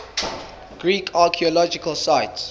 greek archaeological sites